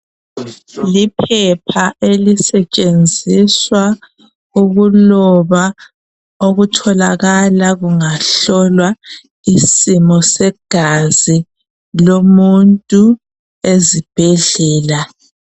liphapha elisetshenziswa ukuloba okutholakala ungahlolwa isimo segazi lomuntu ezibhedlela